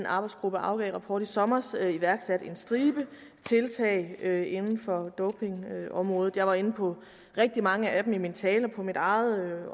arbejdsgruppen afgav en rapport i sommer iværksat en stribe tiltag inden for dopingområdet og jeg var inde på rigtig mange af dem i min tale på mit eget